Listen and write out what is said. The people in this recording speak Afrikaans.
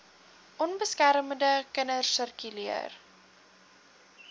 onbeskermde kinders sirkuleer